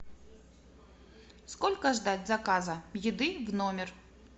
сколько ждать заказа еды в номер